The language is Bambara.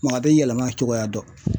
Mɔgɔ tɛ yɛlɛma cogoya dɔn .